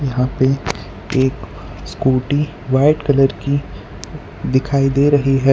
यहां पे एक स्कूटी व्हाइट कलर की दिखाई दे रही है।